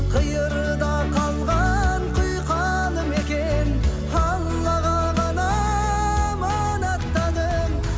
қиырда қалған құйқалы мекен аллаға ғана аманаттадым